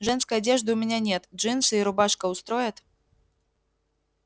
женской одежды у меня нет джинсы и рубашка устроят